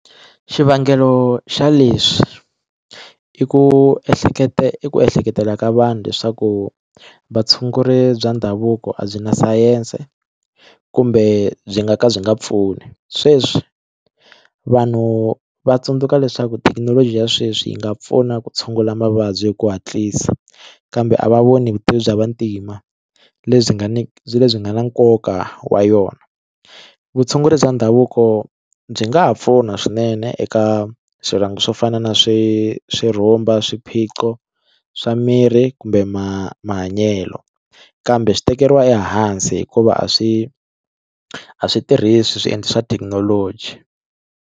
Xivangelo xa leswi i ku ehleketa i ku ehleketela ka vanhu leswaku vatshunguri bya ndhavuko a byi na sayense kumbe byi nga ka byi nga pfuni sweswi vanhu va tsundzuka leswaku thekinoloji ya sweswi yi nga pfuna ku tshungula mavabyi hi ku hatlisa kambe a va voni vutivi bya vantima lebyi nga ni byi lebyi nga na nkoka wa yona vutshunguri bya ndhavuko byi nga ha pfuna swinene eka swiranga swo fana na swi swi rhumba swiphiqo swa mirhi kumbe ma mahanyelo kambe swi tekeriwa ehansi hikuva a swi a swi tirhisi swiendlo swa thekinoloji.